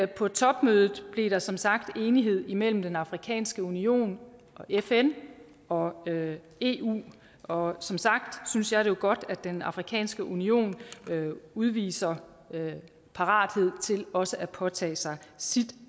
på topmødet blev der som sagt enighed mellem den afrikanske union fn og eu og som sagt synes jeg det er godt at den afrikanske union udviser parathed til også at påtage sig sit